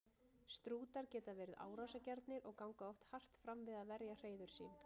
Strútar geta verið árásargjarnir og ganga oft hart fram við að verja hreiður sín.